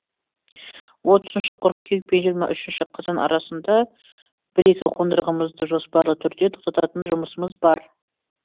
отызыншы қыркүйек пен жиырма үшнші қазан арасында бір екі қондырғымызды жоспарлы түрде тоқтататын жұмысымыз бар